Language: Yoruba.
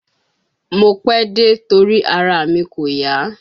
Mo pẹ́ dé, torí ara mi kò yá